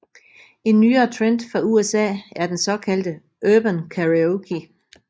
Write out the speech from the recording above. En nyere trend fra USA er den såkaldte Urban Karaoke